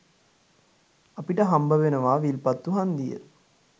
අපිට හම්බවෙනවා විල්පත්තු හන්දිය